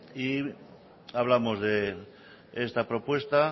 y hablamos de esta propuesta